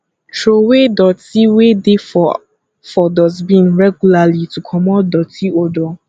trowey doti wey dey for for dustbin regularly to comot doti odour